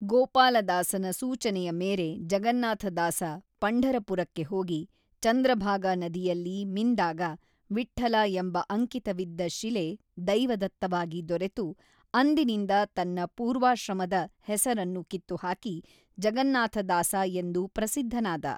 ಗೋಪಾಲದಾಸನ ಸೂಚನೆಯ ಮೇರೆ ಜಗನ್ನಾಥದಾಸ ಪಂಢರಪುರಕ್ಕೆ ಹೋಗಿ ಚಂದ್ರಭಾಗ ನದಿಯಲ್ಲಿ ಮಿಂದಾಗ ವಿಟ್ಠಲ ಎಂಬ ಅಂಕಿತವಿದ್ದ ಶಿಲೆ ದೈವದತ್ತವಾಗಿ ದೊರೆತು ಅಂದಿನಿಂದ ತನ್ನ ಪೂರ್ವಾಶ್ರಮದ ಹೆಸರನ್ನು ಕಿತ್ತುಹಾಕಿ ಜಗನ್ನಾಥದಾಸ ಎಂದು ಪ್ರಸಿದ್ಧನಾದ.